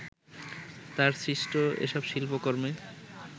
তাঁর সৃষ্ট এসব শিল্পকর্মে